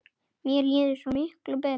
Mér líður svo mikið betur.